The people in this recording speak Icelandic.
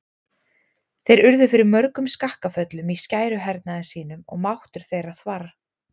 Þeir urðu fyrir mörgum skakkaföllum í skæruhernaði sínum og máttur þeirra þvarr.